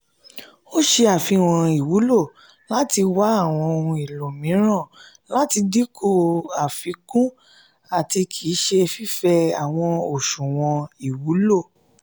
o ṣe afihan iwulo lati wa awọn ohun elo miiran lati dinku afikun ati kii ṣe fifẹ awọn oṣuwọn iwulo.